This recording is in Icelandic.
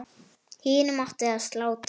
Hinum átti að slátra.